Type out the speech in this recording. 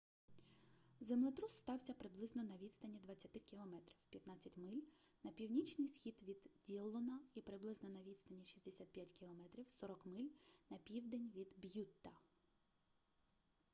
землетрус стався приблизно на відстані 20 км 15 миль на північний схід від діллона і приблизно на відстані 65 км 40 миль на південь від б'ютта